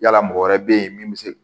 Yala mɔgɔ wɛrɛ bɛ yen min bɛ se